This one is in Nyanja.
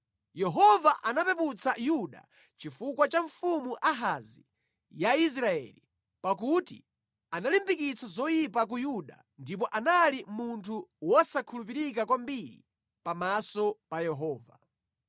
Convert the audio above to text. Yehova anapeputsa Yuda chifukwa cha mfumu Ahazi ya Israeli, pakuti analimbikitsa zoyipa ku Yuda ndipo anali munthu wosakhulupirika kwambiri pamaso pa Yehova.